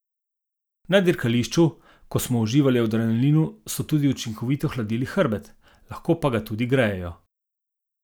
Na dirkališču, ko smo uživali v adrenalinu, so tudi učinkovito hladili hrbet, lahko pa ga tudi grejejo.